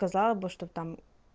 сказал бы что там